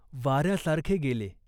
वाऱ्यासारखे गेले.